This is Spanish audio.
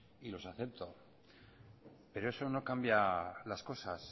y los acepto pero eso no cambia las cosas